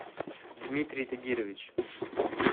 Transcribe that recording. дмитрий тагирович